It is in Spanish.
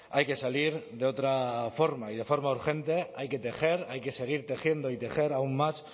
hay que salir de otra forma y de forma urgente hay que tejer hay que seguir tejiendo y tejer aún más